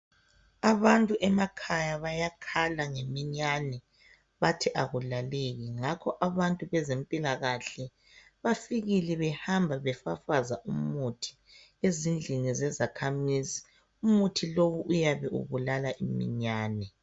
Abantu emakhaya bayakhala ngeminyane bathi akulaleki ngakho abantu bempilakahle bafikile behamba befafaza umuthi ezindlini zezakhamizi umuthi lowu uyabe ubulala uminyane